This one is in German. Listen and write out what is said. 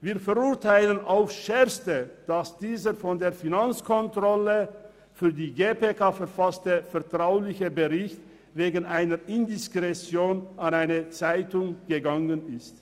Wir verurteilen aufs Schärfste, dass dieser von der Finanzkontrolle für die GPK verfasste vertrauliche Bericht wegen einer Indiskretion zu einer Zeitung gelangt ist.